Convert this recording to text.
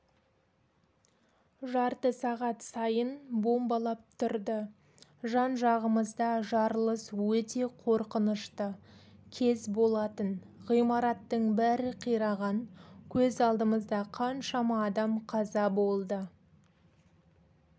жарты сағат сайын бомбалап тұрды жан-жағымызда жарылыс өте қорқынышты кез болатын ғимараттың бәрі қираған көз алдымызда қаншама адам қаза болды